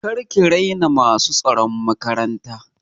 Kar ki raina masu tsaron makaranta!